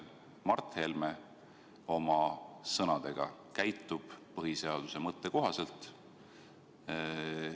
Kas Mart Helme oma sõnadega käitub põhiseaduse mõtte kohaselt?